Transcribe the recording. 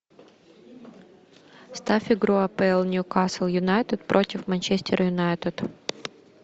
ставь игру апл ньюкасл юнайтед против манчестер юнайтед